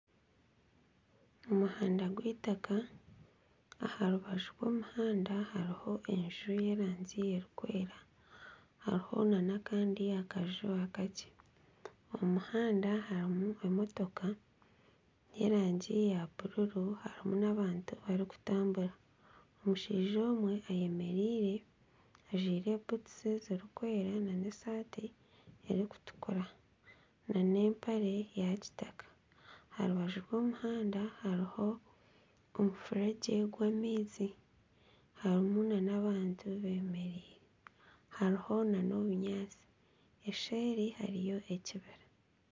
Omuhanda gw'itaka. Aharubaju rw'omuhanda hariho enju y'erangi erikwera, hariho nana akandi akaju akakye. Omu muhanda harimu emotoka y'erangi ya bururu, harimu n'abantu bari kutambura. Omushaija omwe ayemereire ajwire butusi ziri kwera n'esati erikutukura, n'empare ya kitaka. Aharubaju rw'omuhanda hariho omufuregye gw'amaizi harimu nana abantu bemereire. Hariho nana obunyaatsi, eseeri hariyo ekibira.